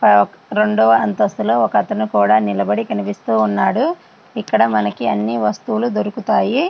రెండవ అంతస్తులోని ఒక అతని నిలబడి కనిపిస్తూ ఉన్నాడు. ఇక్కడ మనకి అన్ని వస్తువులు దొరుకుతున్నాయి.